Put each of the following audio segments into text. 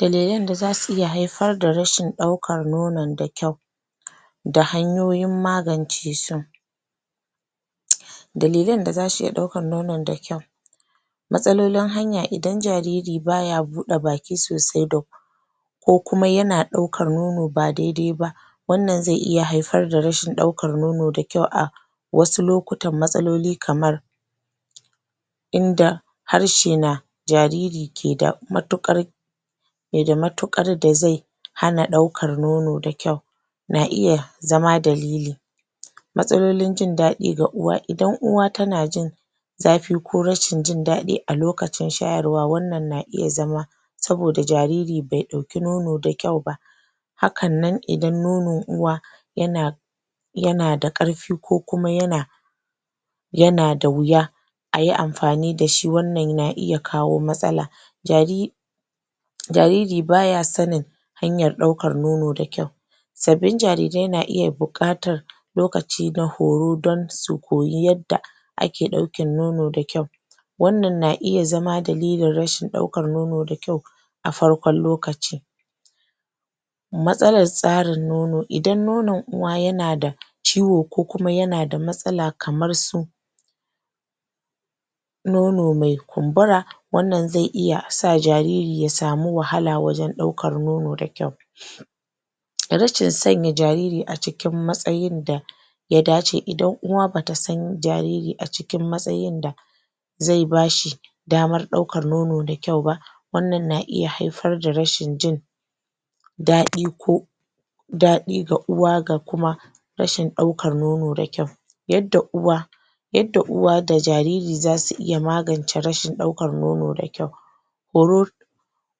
Dalilan da zasu iya haifar da rashin ɗaukan nonon da kyau da hanyoyin magance su dalilan da zasu iya ɗaukan nonon da kyau matsalolin hanya idan jariri baya buɗe baki sosai ko kuma ya ɗaukar nono ba dai dai ba wannan zai iya haifar da rashin ɗaukar nono a wasu lokutan matsaloli kamar inda harshe na jariri ke da matuƙar ke da matuƙar da zai hana ɗaukar nono da kyau na iya zama dalili matsalolin jindadi ga uwa. Idan uwa tana jin zafi ko rashin jin daɗi a lokacin shayarwa wannan na iya zama saboda jariri bai ɗauki nono da kyau ba hakan nan idan nonon uwa yana yana da ƙarfi ko kuma yana da yana da wuya ayi amfani da shi. Wannan yana iya kawo matsala? jariri baya sanin hanyar ɗaukar nono da kyau sabbin jarirai suna iya buƙatar lokaci na horo don su koyi yadda ake ɗaukan nono da kyau wannan na iya zama dalilin rashin ɗaukar nono da kyau a farkon lokaci matsalan tsarin nono. idan nonon uwa yana da ciwo ko kuma yana da mastala kamar su nono mai kumbura wannan zai iya sa jariri ya samu wahala wajen ɗaukar non da kyau rashin sanya jariri a cikin matsayin da ya dace. idan uwa ba ta sa jariri a cikin matsayin da zai ba shi damar ɗaukar nono da kyau ba wannan na iya haifar da rashin jin daɗi ko daɗi ga uwa ga kuma rashin ɗaukar nono da kyau yadda uwa aydda uwa da jariri zasu iya magance rashin ɗaukar nono da kyau horon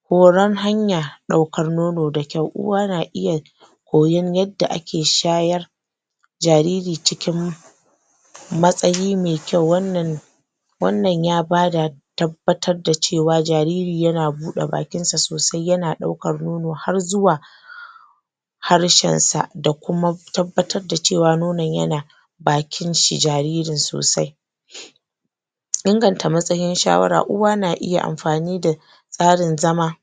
horon hamya ɗaukar nono da kyau. uwa na iya koyan yadda ake shayar da jariri cikin matsayi mai kyau. wannan wannan ya bada tabbatar da cewa jariri yana buɗe bakinsa sosai yana ɗaukar nono har zuwa harshensa da kuma tabbatar da cewa nonon yana bakin jaririn sosai inganta matsayin shawara. uwa na iya tsarin zama